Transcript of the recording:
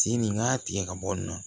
Tin nin n k'a tigɛ ka bɔ yen nɔ